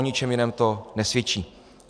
O ničem jiném to nesvědčí.